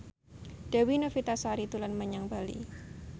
Dewi Novitasari dolan menyang Bali